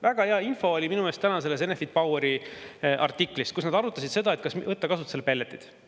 Väga hea info oli minu meelest täna Enefit Poweri artiklis, kus nad arutasid, kas võtta kasutusele pelletid.